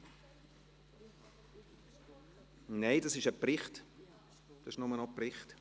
–( Nein, das ist nur noch ein Bericht.